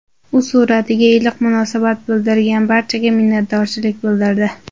U suratiga iliq munosabat bildirgan barchaga minnatdorchilik bildirdi.